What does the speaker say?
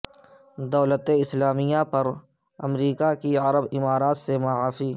دولت اسلامیہ پر امریکہ کی عرب امارات سے معافی